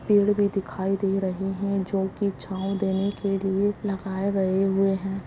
पेड़ भी दिखाई दे रहे हैं जो कि छाँव देने के लिए लगाए गए हुए हैं।